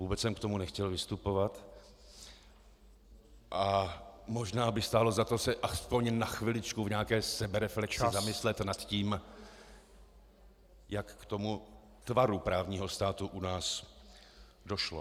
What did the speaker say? Vůbec jsem k tomu nechtěl vystupovat a možná by stálo za to se aspoň na chviličku v nějaké sebereflexi zamyslet nad tím, jak k tomu tvaru právního státu u nás došlo.